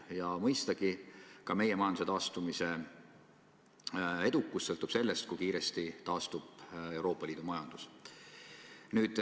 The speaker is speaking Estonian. Ja mõistagi ka meie majanduse taastumise edukus sõltub sellest, kui kiiresti taastub Euroopa Liidu majandus.